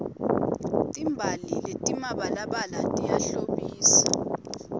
timbali letimabalabala tiyahlobisa